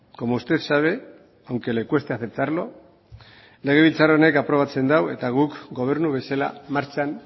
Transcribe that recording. como usted sabe aunque le cueste aceptarlo legebiltzar honek aprobatzen dau eta guk gobernu bezala martxan